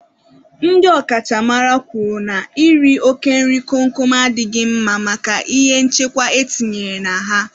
Ndị ọ kachamara kwuru na iri oke nri kom kom a adịghị mma maka ihe nchekwa e tinyere na ha.